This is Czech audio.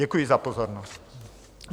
Děkuji za pozornost.